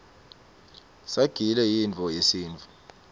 sagile yintfo yesintfu